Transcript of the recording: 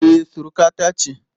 E, surukata ce